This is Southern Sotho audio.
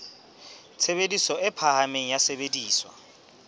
tshebediso e phahameng ya sesebediswa